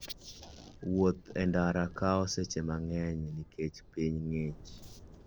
Wuoth e ndara kawo seche mang'eny nikech piny ng'ich.